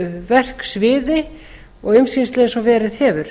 verksviði og umsýslu eins og verið hefur